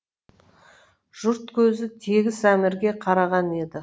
жұрт көзі тегіс әмірге қараған еді